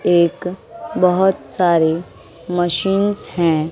एक बहोत सारे मशीनस है।